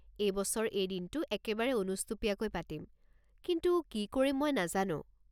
এইবছৰ এই দিনটো একেবাৰে অনুষ্টুপীয়াকৈ পাতিম, কিন্তু কি কৰিম মই নাজানোঁ।